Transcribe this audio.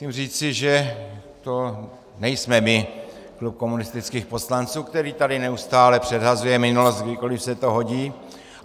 Musím říci, že to nejsme my, klub komunistických poslanců, který tady neustále předhazuje minulost, kdykoli se to hodí.